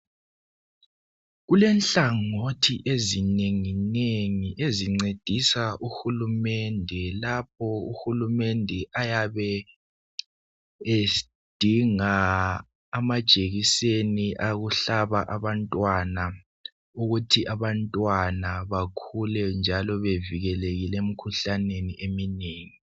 Kulenhlangothi ezinenginengi ezincedisa uhulumende lapho ayabe edinga amajekiseni awokuhlaba abantwana ukuthi bakhule njalo bevikelekile emkhuhlaneni eminengi.